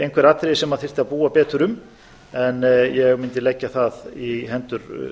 einhver atriði sem þyrfti að búa betur um en ég mundi leggja það í hendur